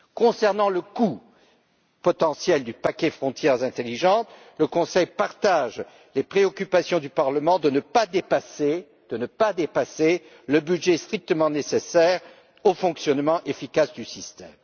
Concernant le coût potentiel du paquet Frontières intelligentes, le Conseil partage les préoccupations du Parlement de ne pas dépasser le budget strictement nécessaire au fonctionnement efficace du système.